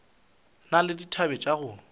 na le dithabe tša go